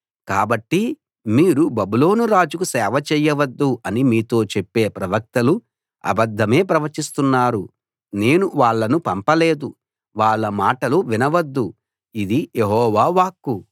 కాబట్టి మీరు బబులోను రాజుకు సేవ చేయవద్దు అని మీతో చెప్పే ప్రవక్తలు అబద్దమే ప్రవచిస్తున్నారు నేను వాళ్ళను పంపలేదు వాళ్ళ మాటలు వినవద్దు ఇది యెహోవా వాక్కు